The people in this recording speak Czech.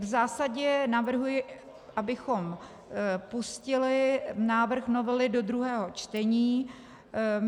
V zásadě navrhuji, abychom pustili návrh novely do druhého čtení.